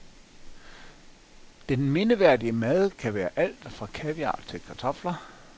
Den mindeværdige mad kan være alt, fra kaviar til kartofler.